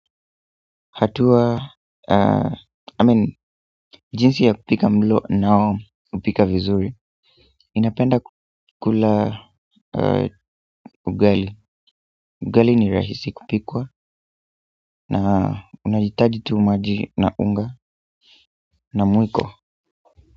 Hatua I mean jinsi ya kupika mlo ninaopika vizuri ninapenda kukula ugali ugali ni rahisi kupikwa na unahitaji tu maji na unga na mwiko.